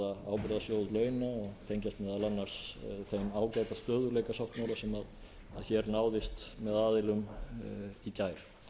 tengjast meðal annars þeim ágæta stöðugleikasáttmála sem hér náðist með aðilum í gær